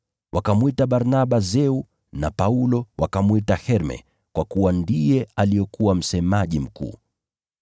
Wakamwita Barnaba Zeu na Paulo wakamwita Herme kwa kuwa ndiye alikuwa msemaji mkuu.